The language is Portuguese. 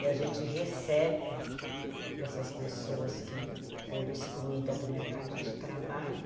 E a gente recebe essas pessoas que foram excluídas do mercado de trabalho.